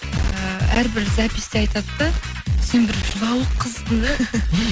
ііі әрбір записьте айтады да сен бір жылауық қызсың да